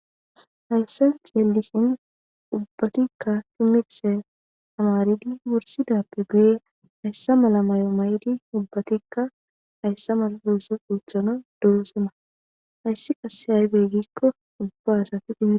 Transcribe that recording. Hayssan xelishin ubbatikka timirte tamaridi wursidappe guye heeyssa malla may'o may'di ubbatikka hayssa mala ooththoo ooththanas de'oosona hayssi qasse aybe giikko ubba asati immi